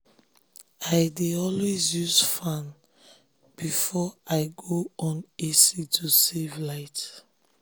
i um dey always use fan before i go um on ac to save light.